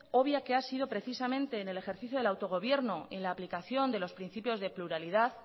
obvia que ha sido precisamente en el ejercicio del autogobierno en la aplicación de los principios de pluralidad